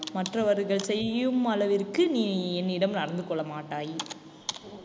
மற்றவர்கள் செய்யும் அளவிற்கு நீ என்னிடம் நடந்து கொள்ள மாட்டாய்